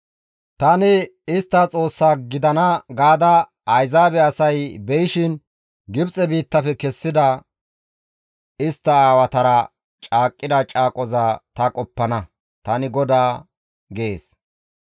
Tani istta Xoossaa gidana gaada Ayzaabe asay beyishin Gibxe biittafe kessida istta aawatara caaqqida caaqoza ta qoppana; tani GODAA› gees.»